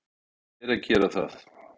Þeim beri að gera það.